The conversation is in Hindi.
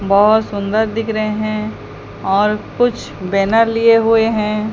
बहुत सुंदर दिख रहे हैं और कुछ बैनर लिए हुए हैं।